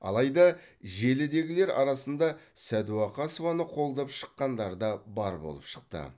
алайда желідегілер арасында сәдуақасованы қолдап шыққандар да бар болып шықты